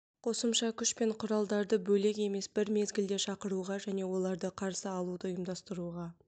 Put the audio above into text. қосымша күш пен құралдарды бөлек емес бір мезгілде шақыруға және оларды қарсы алуды ұйымдастыруға